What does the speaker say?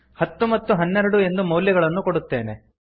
ಹತ್ತು ಮತ್ತು ಹನ್ನೆರಡು ಎಂದು ಮೌಲ್ಯಗಳನ್ನು ಕೊಡುತ್ತೇನೆ